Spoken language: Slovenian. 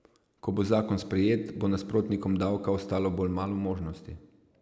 Ko bo zakon sprejet, bo nasprotnikom davka ostalo bolj malo možnosti.